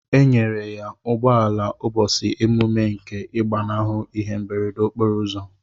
Enyere ya ugbọala ubosi emume nke igbanahu ihe mberede okporo ụzọ.